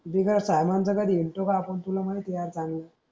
दीगा सहा नंतर कधी हिंडतो का माहिती आहे सांगून